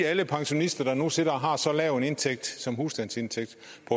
at alle pensionister der nu sidder og har så lav en indtægt som husstandsindtægt